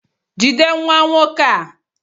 Jide nwa nwoke a!